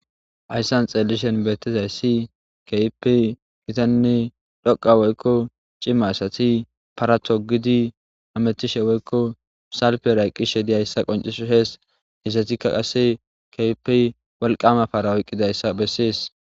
Haysan xilishin betizaysi kehippe gitane dhoqa woyko cima asati para togidi hamutishe woyko salpera eqidaysa qoncises izetika qase kehippe wolqama para oykidaysa beses